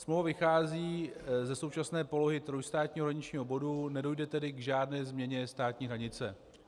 Smlouva vychází ze současné polohy trojstátního hraničního bodu, nedojde tedy k žádné změně státní hranice.